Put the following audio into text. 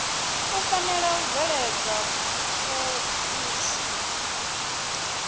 u fanela u bveledza phoḽisi